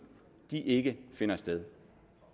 ikke finder sted